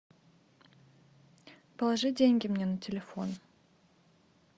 положи деньги мне на телефон